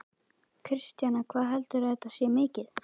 Kristjana: Hvað heldurðu að þetta sé mikið?